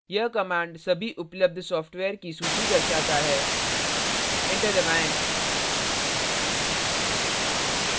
यह command सभी उपलब्ध सॉफ्टवेयर की सूची दर्शाता है enter दबाएं